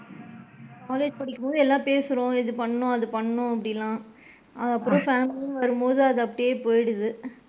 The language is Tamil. College படிக்கும் போது எல்லா பேசுறோம் இது பண்ணனும் அது பண்ணனும் அப்படில்லா அதுக்கு அப்பறம் family ன்னு வரும் போது அது அப்படியே போயிடுது.